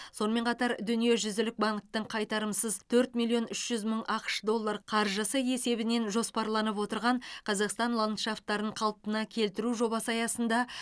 сонымен қатар дүниежүзілік банктің қайтарымсыз төрт миллион үш жүз мың ақш доллар қаржысы есебінен жоспарланып отырған қазақстан ландшафтарын қалпына келтіру жобасы аясында